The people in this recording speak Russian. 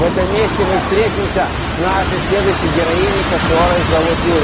в этом месте мы встретимся с нашей следующей героиней которую зовут юля